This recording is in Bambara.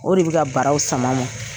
O de bɛ ka baraw sama ma